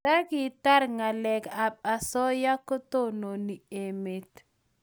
Ndakitar ngalek ab asoya ko tononi emet